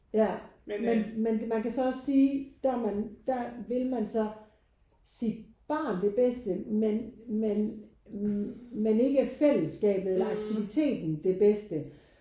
Ja men men man kan så også sige der er man der vil man så sit barn det bedste men men men ikke fællesskabet eller aktiviteten det bedste